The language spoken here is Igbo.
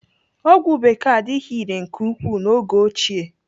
Ọgwụ bekee adịghị irè nke ukwuu n'oge ochie.